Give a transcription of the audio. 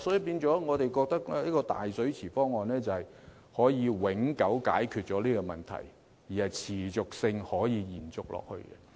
因此，我們認為這個"大水池方案"可以永久解決這個問題，並可持續地延續下去。